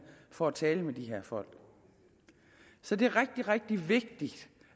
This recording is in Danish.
for at tale med de her folk så det er rigtig rigtig vigtigt